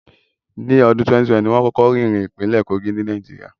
Ní ọdún 2012, ni wón kọ́kọ́ rí irin ní ìpínlẹ̀ Kogí, ní Nàìjíríà